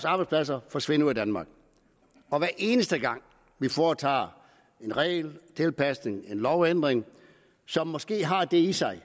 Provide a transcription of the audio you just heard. arbejdspladser forsvinde ud af danmark og hver eneste gang vi foretager en regeltilpasning en lovændring som måske har det i sig